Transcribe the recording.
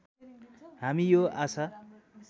हामी यो आशा